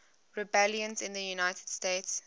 rebellions in the united states